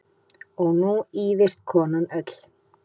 Og nú ýfist konan öll.